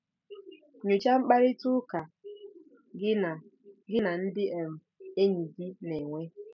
Nyochaa mkparịta ụka gị na gị na ndị um enyi gị na-enwe.